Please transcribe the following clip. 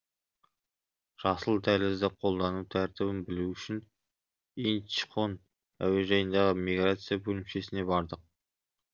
жасыл дәлізді қолдану тәртібін білу үшін инчхон әуежайындағы миграция бөлімшесіне бардық